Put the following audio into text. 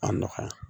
A nɔgɔya